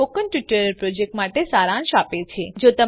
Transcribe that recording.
તે spoken tutorial પ્રોજેક્ટનો સારાંશ આપે છે